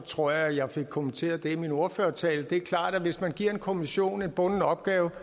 tror jeg at jeg fik kommenteret det i min ordførertale det er klart at hvis man giver en kommission en bunden opgave